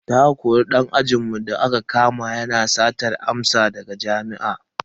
Za a kori dan ajinmu da aka kama yana satar amsa a jarabawa daga jami'ar.